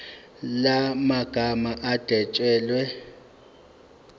la magama adwetshelwe